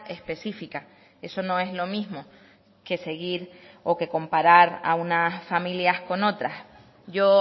específica eso no es lo mismo que seguir o que comparar a unas familias con otras yo